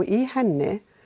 í henni